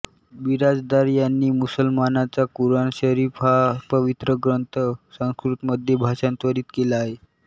बिराजदार यांनी मुसलमानांचा कुराणशरीफ हा पवित्र ग्रंथ संस्कृतमध्ये भाषांतरित केला आहे